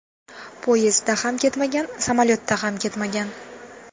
Poyezdda ham ketmagan, samolyotda ham ketmagan.